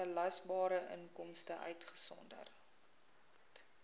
belasbare inkomste uitgesonderd